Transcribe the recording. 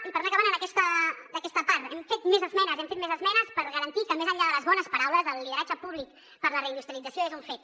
i per anar acabant aquesta part hem fet més esmenes hem fet més esmenes per garantir que més enllà de les bones paraules el lideratge públic per a la reindustrialització és un fet